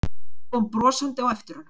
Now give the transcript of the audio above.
Kom brosandi á eftir honum.